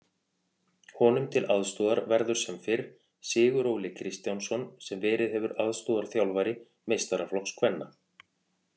Honum til aðstoðar verður sem fyrr Siguróli Kristjánsson sem verið hefur aðstoðarþjálfari meistaraflokks kvenna.